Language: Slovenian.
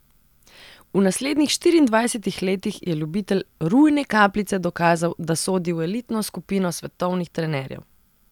V naslednjih štiriindvajsetih letih je ljubitelj rujne kapljice dokazal, da sodi v elitno skupino svetovnih trenerjev.